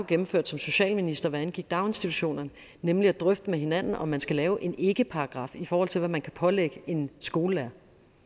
gennemførte som socialminister hvad angik daginstitutionerne nemlig at drøfte med hinanden om man skal lave en ikkeparagraf i forhold til hvad man kan pålægge en skolelærer